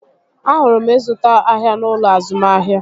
Ahụrụ ịzụta ahịa n'ụlọ azụmahịa